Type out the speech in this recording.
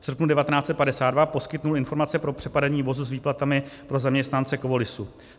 V srpnu 1952 poskytl informace pro přepadení vozu s výplatami pro zaměstnance Kovolisu.